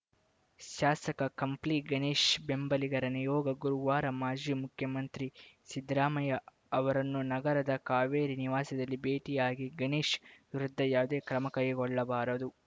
ಶಾಸಕ ಕಂಪ್ಲಿ ಗಣೇಶ್‌ ಬೆಂಬಲಿಗರ ನಿಯೋಗ ಗುರುವಾರ ಮಾಜಿ ಮುಖ್ಯಮಂತ್ರಿ ಸಿದ್ದರಾಮಯ್ಯ ಅವರನ್ನು ನಗರದ ಕಾವೇರಿ ನಿವಾಸದಲ್ಲಿ ಭೇಟಿಯಾಗಿ ಗಣೇಶ್‌ ವಿರುದ್ಧ ಯಾವುದೇ ಕ್ರಮ ಕೈಗೊಳ್ಳಬಾರದು